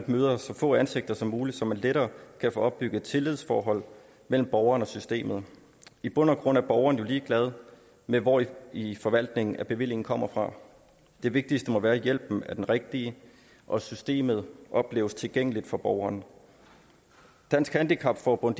møder så få ansigter som muligt så man lettere kan få opbygget et tillidsforhold mellem borgeren og systemet i bund og grund er borgeren jo ligeglad med hvor i i forvaltningen bevillingen kommer fra det vigtigste må være at hjælpen er den rigtige og at systemet opleves tilgængeligt for borgeren dansk handicap forbund